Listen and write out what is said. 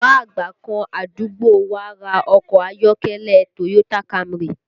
Bàbá àgbà kan àdúgbò wá ra ọkọ ayọ́kẹ́lẹ́ Toyota Camry